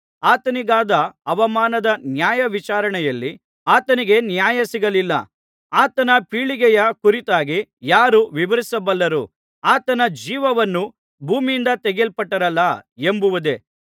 ಆತನಿಗಾದ ಅವಮಾನದ ನ್ಯಾಯವಿಚಾರಣೆಯಲ್ಲಿ ಆತನಿಗೆ ನ್ಯಾಯ ಸಿಗಲಿಲ್ಲ ಆತನ ಪೀಳಿಗೆಯ ಕುರಿತಾಗಿ ಯಾರು ವಿವರಿಸಬಲ್ಲರು ಆತನ ಜೀವವನ್ನು ಭೂಮಿಯಿಂದ ತೆಗೆದುಬಿಟ್ಟರಲ್ಲಾ ಎಂಬುದೇ